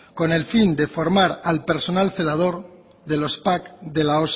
con el fin de formar al personal celador de los pac de la